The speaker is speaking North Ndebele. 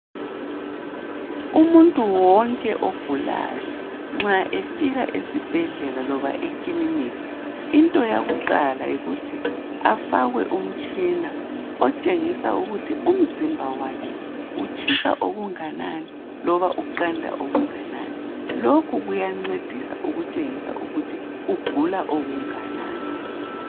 Umuntu wonke ogulayo nxa efika esibhedlela loba eklinika. Into yakuqala yikuthi afakwe utshina otshengisa ukuthi umzimba wakhe utshisa okunganani loba uqanda okunganani lokhu kuyancedisa ukutshengisa ukuthi ugula okunganani.